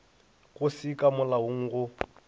go se ka molaong go